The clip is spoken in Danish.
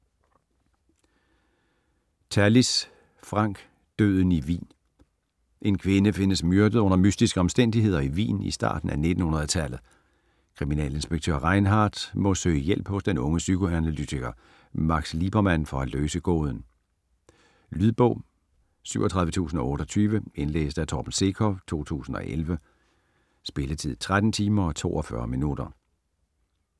Tallis, Frank: Døden i Wien En kvinde findes myrdet under mystiske omstændigheder i Wien i starten af 1900-tallet. Kriminalinspektør Rheinhardt må søge hjælp hos den unge psykoanalytiker Max Liebermann for at løse gåden. Lydbog 37028 Indlæst af Torben Sekov, 2011. Spilletid: 13 timer, 42 minutter.